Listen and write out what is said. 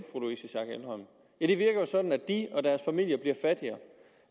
ja det virker jo sådan at de og deres familier bliver fattigere